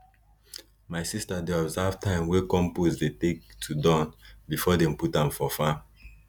my sister dey observe time wey compost dey take to Accepted before dem put am for farm